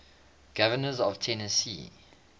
governors of tennessee